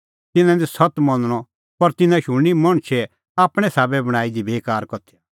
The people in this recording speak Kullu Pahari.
तिन्नां निं सत्त मनणअ पर तिन्नां शुणनी मणछै आपणैं साबै बणांईं दी बेकार कथैया